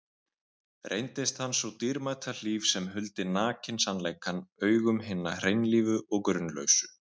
Reyndist hann sú dýrmæta hlíf sem huldi nakinn sannleikann augum hinna hreinlífu og grunlausu.